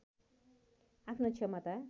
आफ्नो क्षमता